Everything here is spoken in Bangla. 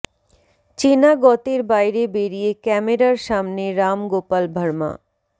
চেনা গতের বাইরে বেরিয়ে ক্যামেরার সামনে রাম গোপাল ভার্মা